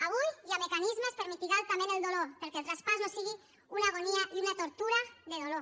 avui hi ha mecanismes per mitigar altament el dolor perquè el traspàs no sigui una agonia i una tortura de dolor